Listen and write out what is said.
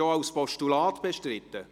– Ist es auch als Postulat bestritten?